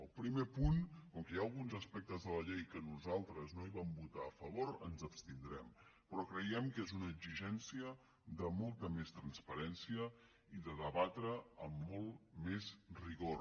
al primer punt com que hi ha alguns aspectes de la llei que nosaltres no hi vam votar a favor ens abstindrem però creiem que és una exigència de molta més transparència i de debatre amb molt més rigor